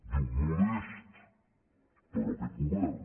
diu modest però aquest go·vern